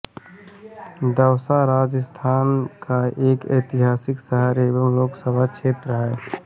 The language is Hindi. दौसा राजस्थान का एक ऐतिहासिक शहर एवं लोकसभा क्षेत्र है